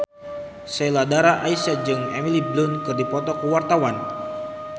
Sheila Dara Aisha jeung Emily Blunt keur dipoto ku wartawan